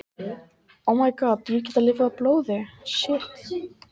Þó eru á þessu undantekningar, einkum ef dýrin geta lifað á blóði.